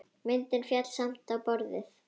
Myndin féll samt á borðið.